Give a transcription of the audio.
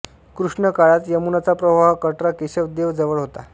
कृष्ण काळात यमुनाचा प्रवाह कटरा केशव देव जवळ होता